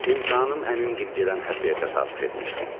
İmtahanım əmim gil gedən həftəyə təsadüf etmişdi.